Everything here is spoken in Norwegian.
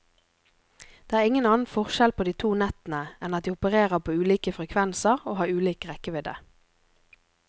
Det er ingen annen forskjell på de to nettene enn at de opererer på ulike frekvenser og har ulik rekkevidde.